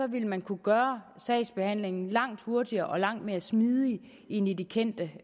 vil man kunne gøre sagsbehandlingen langt hurtigere og langt mere smidig end i det kendte